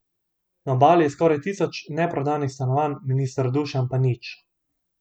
Na Obali je skoraj tisoč neprodanih stanovanj, minister Dušan pa nič.